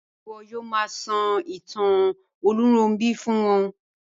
Ṣe iwọ yoo ma sọ itan Olunronbi fun wọn?